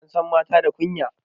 Ansan mata da kunya